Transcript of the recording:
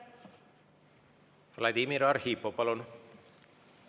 Vladimir Arhipov, palun!